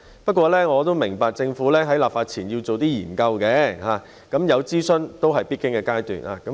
不過，我也明白政府在立法前要進行研究，諮詢也是必經的階段。